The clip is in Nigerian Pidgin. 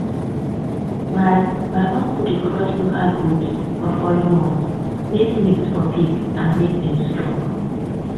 my my uncle dey cross local goats for foreign ones make meat for big and make dem strong.